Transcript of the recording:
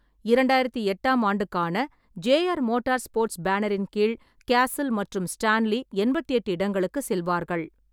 இரண்டாயிரத்து எட்டாம் ஆண்டுக்கான ஜே.ஆர். மோட்டார் ஸ்போட்ஸ் பேனரின் கீழ் கேசில் மற்றும் ஸ்டான்லி எண்பத்தி எட்டு இடங்களுக்கு செல்வார்கள்.